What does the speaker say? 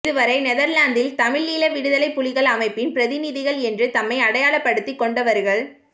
இதுவரை நெதர்லாந்தில் தமிழீழ விடுதலைப் புலிகள் அமைப்பின் பிரதிநிதிகள் என்று தம்மை அடையாளப்படுத்திக்கொண்டவர்கள்